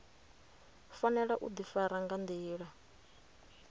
fanela u ḓifara nga nḓila